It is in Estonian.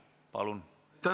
Palun!